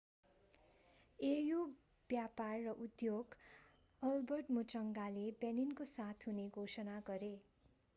au व्यापार र उद्योग albert muchanga मुचंगाले benin को साथ हुने घोषणा गरे